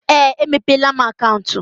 Ee, emepeela m akaụntụ.